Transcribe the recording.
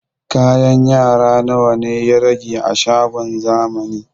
Kayan yara nawa ya rage a shagon zamani?